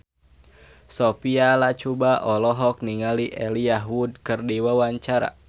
Sophia Latjuba olohok ningali Elijah Wood keur diwawancara